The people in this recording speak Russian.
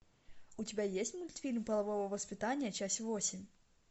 у тебя есть мультфильм полового воспитания часть восемь